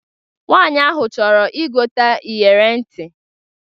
Nwaanyị ahụ chọrọ igote iyere ntị